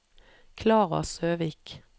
Klara Søvik